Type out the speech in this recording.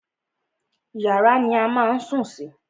Yàrá ni a má a ń sùn sí.